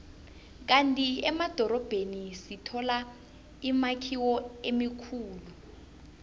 kandi emadorobheni sithola imakhiwo emikhulu